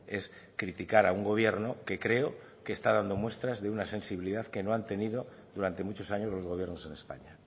es criticar a un gobierno que creo que está dando muestras de una sensibilidad que no han tenido durante muchos años los gobiernos en españa